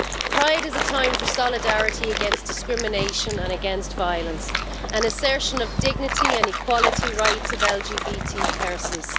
Pride is a time for solidarity against discrimination and against violence, an assertion of dignity and equality rights of LGBT persons.